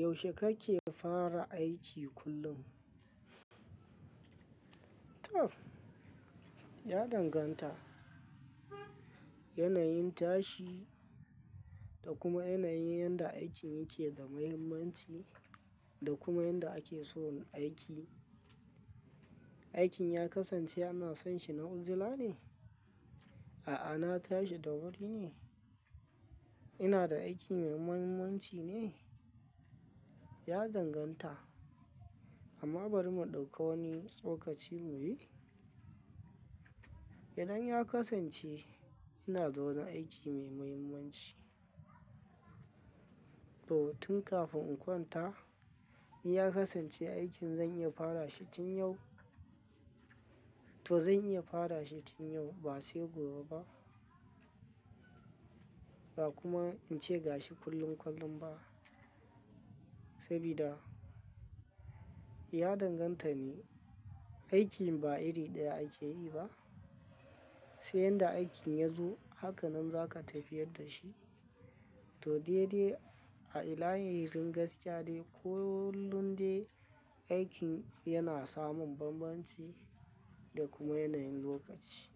Yaushe kake fara aiki kullum? To, ya danganta. Yanayin tashi da kuma yanayin yadda aikin yake da muhimmanci da kuma yadda ake so aiki. Aikin ya kasance ana son shi na ujula ne? A'a, na tashi da wuri ne. Ina da aiki mai muhimmanci ne? Ya danganta, amma bari mu ɗauka wani tsokaci muyi. Idan ya kasance ina da wani aiki mai muhimmanci to tun kafin in kwanta, in ya kasance aikin zan iya fara shi tun yau, to zan iya fara shi tun yau ba sai gobe ba. Ba kuma in ce ga shi kullum kullum ba. Sabida ya danganta ne, aikin ba iri ɗaya ake yi ba. Sai yadda aikin ya zo haka nan za ka tafiyar da shi. To, daidai a ilahirin gaskiya dai kullum dai aikin yana samun banbanci da kuma yanayin lokaci.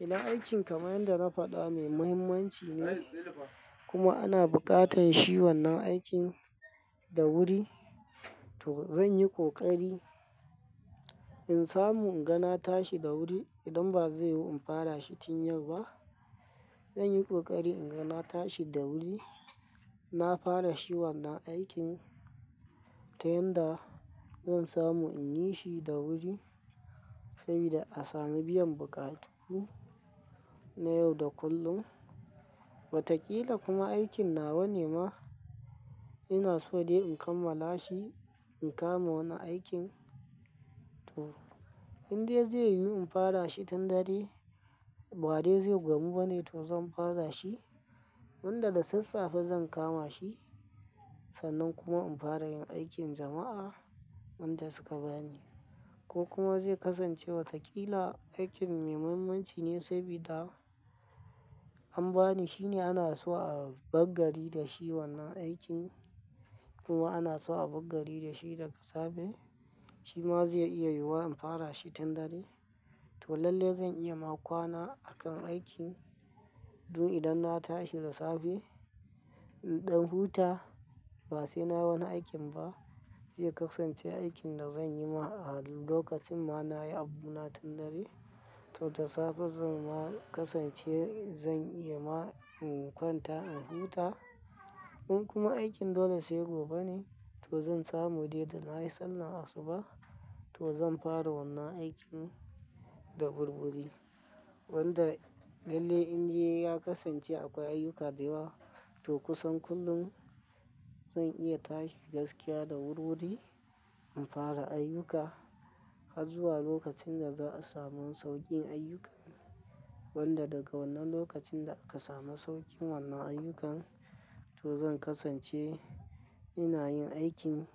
Idan aikin kamar yadda na faɗa mai muhimmanci ne kuma ana buƙatar shi wannan aikin da wuri, to zan yi ƙoƙari in samu in ga na tashi da wuri idan ba zai yiwu in fara shi tun yau ba. Zan yi ƙoƙari in ga na tashi da wuri, na fara shi wannan aikin ta yadda zan samu in yi shi da wuri sabida a sami biyan bukatu na yau da kullum. Watakila kuma aikin nawa ne ma ina so dai in kammala shi in kama wani aikin. To, in dai zai yiwu in fara shi tun dare ba dai zai gamu ba ne, to zan fara shi. Wanda da sassafe zan kama shi sannan kuma in fara yin aikin jama'a wanda suka bani. Ko kuma zai kasance watakila aikin mai muhimmanci ne sabida an bani shine ana so a bar gari da shi wannan aikin kuma ana so a bar gari da shi da safe, Shi ma zai iya yiwuwa in fara shi tun dare. To lalle zan iya ma kwana a kan aikin dun idan na tashi da safe. In ɗan huta ba sai nayi wani aikin ba zai kasance aikin da zan yi ma a lokacin ma na yi abu na tun dare. To da safe zan ma kasance zan iya ma in kwanta in huta. In kuma aikin dole sai gobe ne, to zan samu dai da na yi sallah asuba to zan fara wannan aikin da wurwuri. Wanda lalle in dai ya kasance akwai ayyuka da yawa to kusan kullum zan iya tashi gaskiya da wurwuri in fara ayyuka har zuwa lokacin da za a samu sauƙin ayyukan. Wanda daga wannan lokacin da aka samu sauƙin wannan ayyukan to zan kasance ina yin aikin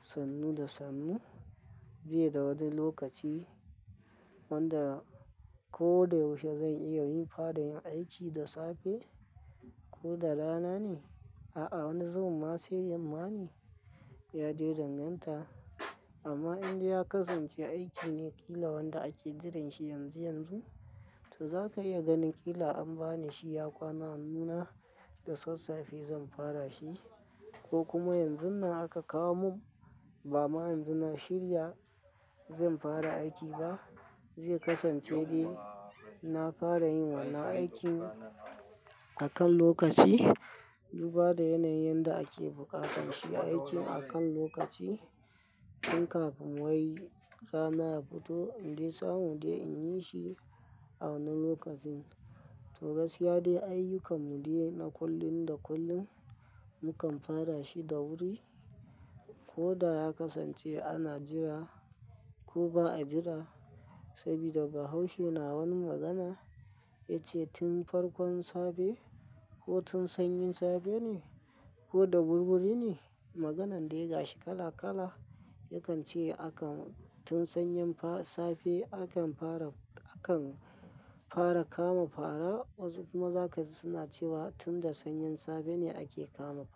sannu da sannu, bai da wani lokaci wanda ko da yaushe zan iya yin fara yin aiki da safe ko da rana ne. A'a, wani zubin ma sai yamma ne. Ya dai danganta. Amma in dai ya kasance aiki ne ƙila wanda ake jiran shi yanzu yanzu, to za ka iya ganin ƙila an bani shi ya kwana a hannuna da sassafe zan fara shi. Ko kuma yanzun nan aka kawo mun ba ma yanzu na shirya zan fara aiki ba. Zai kasance dai na fara yin wannan aikin a kan lokaci. Duba da yanayin yadda ake buƙatar shi aikin a kan lokaci. In kafin wai rana ya fito inde samu de in yi shi a wannan lokacin. To gaskiya dai ayyukan mu dai na kullum da kullum mukan fara shi da wuri. Ko da ya kasance ana jira ko ba a jira sabida bahaushe na wani magana ya ce "tun farkon safe ko tun sanyin safe ne ko da wurwuri ne." Maganan dai ga shi kala kala. Yakan ce akan tun sanyin safe akan fara, akan fara kama fara. Wasu kuma zaka ji suna cewa tun da sanyin safe ne ake kama fara.